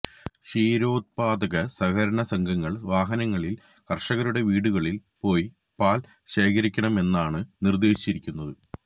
ക്ഷീരോത്പ്പാദക സഹകരണ സംഘങ്ങൾ വാഹനങ്ങളിൽ കർഷകരുടെ വീടുകളിൽ പോയി പാൽ ശേഖരിക്കണമെന്നാണ് നിർദ്ദേശിച്ചിരിക്കുന്നത്